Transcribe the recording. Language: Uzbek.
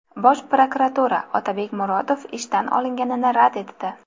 Bosh prokuratura Otabek Murodov ishdan olinganini rad etdi.